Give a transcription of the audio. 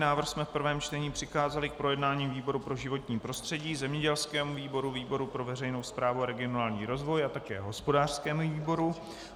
Návrh jsme v prvém čtení přikázali k projednání výboru pro životní prostředí, zemědělskému výboru, výboru pro veřejnou správu a regionální rozvoj a také hospodářskému výboru.